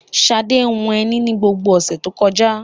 Ṣadé hun ẹní ni gbogbo ọ̀sẹ̀ tó kọjá.